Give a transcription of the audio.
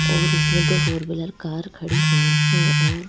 और इसमें दो फोर भीलर कार खड़ी हुई हैं और--